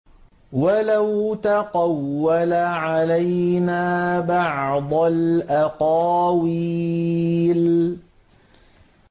وَلَوْ تَقَوَّلَ عَلَيْنَا بَعْضَ الْأَقَاوِيلِ